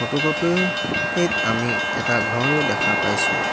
Photocopy ৰ পিত আমি এটা ঘৰো দেখা পাইছোঁ।